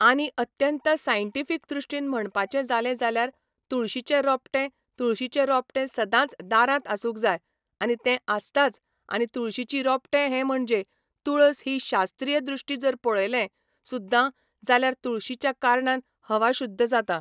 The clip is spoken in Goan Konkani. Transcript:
आनी अत्यंत सायंटिफीक दृश्टीन म्हणपाचें जालें जाल्यार तुळशीचें रोपटें तुळशीचें रोपटें सदांच दारांत आसूंक जाय आनी तें आसताच आनी तुळशीची रोपटें हें म्हणजे तुळस ही शास्त्रीय दृश्टी जर पळयलें सुद्दां जाल्यार तुळशीच्या कारणान हवा शुद्ध जाता